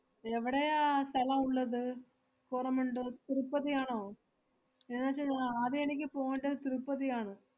എവടെയാ ആ സ്ഥലം ഉള്ളത്? കോരമണ്ടു? തിരുപ്പതിയാണോ? എന്നുവെച്ചാ ഞാ~ ആദ്യം എനിക്ക് പോണ്ടത് തിരുപ്പതിയാണ്.